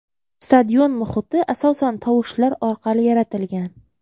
Stadion muhiti asosan tovushlar orqali yaratilgan.